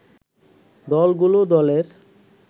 দলগুলো দলের